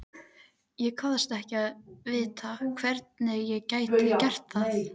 Ég kvaðst ekki vita, hvernig ég gæti gert það.